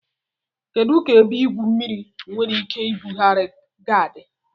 Kedu ka ebe igwu mmiri enwere ike ibugharị ga-adị?